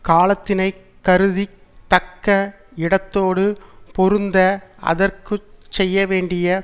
காலத்தினை கருதி தக்க இடத்தோடு பொருந்த அதற்கு செய்யவேண்டிய